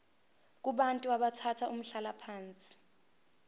kubantu abathathe umhlalaphansi